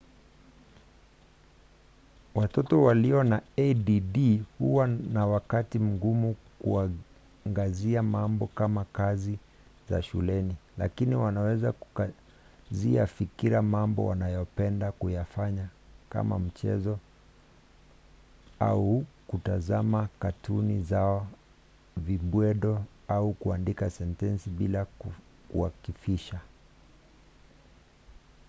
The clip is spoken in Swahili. watoto walio na add huwa na wakati mgumu kuangazia mambo kama kazi za shuleni lakini wanaweza kukazia fikira mambo wanayopenda kuyafanya kama kucheza michezo au kutazama katuni zao vibwedo au kuandika sentensi bila kuakifisha